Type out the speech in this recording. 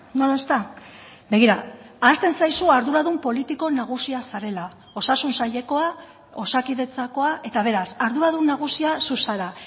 no lo está begira ahazten zaizu arduradun politiko nagusia zarela osasun sailekoa osakidetzakoa eta beraz arduradun nagusia zu zara